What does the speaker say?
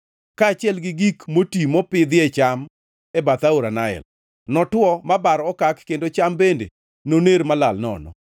kaachiel gi gik moti mopidhie cham e bath aora Nael notwo ma bar okak kendo cham bende noner molal nono.